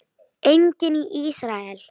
Einnig í Ísrael.